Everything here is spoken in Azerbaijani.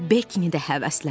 O Bekkini də həvəsləndirdi.